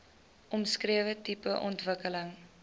omskrewe tipe ontwikkeling